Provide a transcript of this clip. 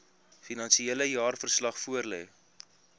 finansiële jaarverslag voorlê